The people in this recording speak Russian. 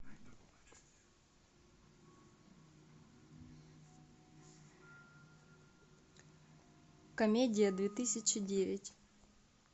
комедия две тысячи девять